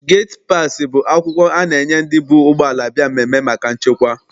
Geti paasị bụ akwụkwọ a na- enye ndị bu ụgbọala bịa mmemme maka nchekwa.